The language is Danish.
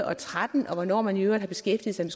og tretten og hvornår man i øvrigt har beskæftiget sig